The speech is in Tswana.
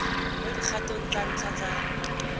mo dikgatong tsa ntlha tsa